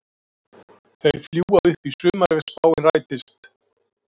Þeir fljúga upp í sumar ef spáin rætist.